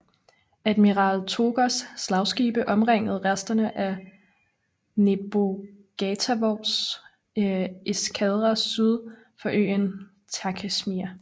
Admiral Tōgōs slagskibe omringede resterne af Nebogatovs eskadre syd for øen Takeshima